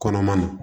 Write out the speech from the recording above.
Kɔnɔma na